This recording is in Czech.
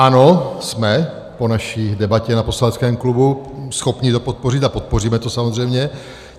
Ano, jsme po naší debatě na poslaneckém klubu schopni to podpořit a podpoříme to samozřejmě.